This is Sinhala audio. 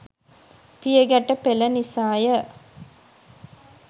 පියගැට පෙළ නිසා ය.